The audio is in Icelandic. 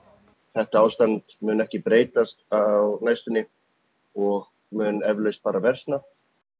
þetta ástand mun ekki breytast á næstunni og mun eflaust bara versna